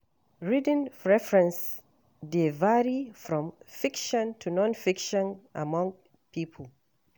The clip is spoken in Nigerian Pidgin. Reading preferences dey vary from fiction to non-fiction among people.